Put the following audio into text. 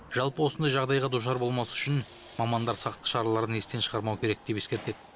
жалпы осындай жағдайға душар болмас үшін мамандар сақтық шараларын естен шығармау керек деп ескертеді